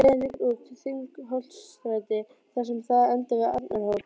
Leiðin liggur út Þingholtsstræti þar sem það endar við Arnarhól.